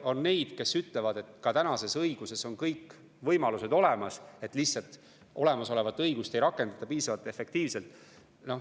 On neid, kes ütlevad, et ka tänases õiguses on kõik võimalused olemas, lihtsalt olemasolevat õigust ei rakendata piisavalt efektiivselt.